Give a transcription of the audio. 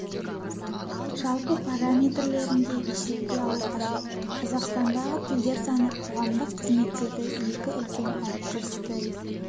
жалпы параметрлерін де есепке алу қажет қазақстандағы тілдер саны қоғамдық қызметтерді екі үлкен әріптес тіл